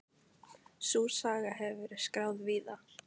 Sú saga hefur verið skráð víða.